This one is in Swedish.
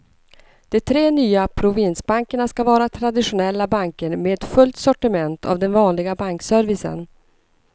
De tre nya provinsbankerna ska vara traditionella banker med fullt sortiment av den vanliga bankservicen.